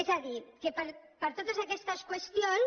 és a dir que per totes aquestes qüestions